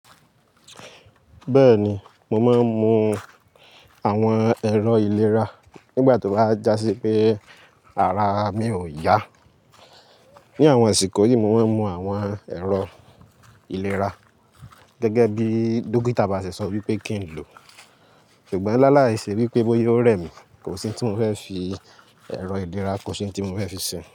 Bẹ́ẹ̀ni, mo máa ń mu àwọn ẹ̀rọ ìlera nígbà tó bá já sí pé ara mi ò yá. Ni àwọn àsìkò yìí mo máa ń mu àwọn ẹ̀rọ ìlera gẹ́gẹ́ bí dókítà bá ṣe sọ wípé kí n lò. Ṣùgbọ́n láilàì ṣe wípé bóyá ó rẹ̀ mí, kò sí ohun tí mo fẹ́ fi ẹ̀rọ ìlera, kò sí ohun tí mo fẹ́ fi ṣe.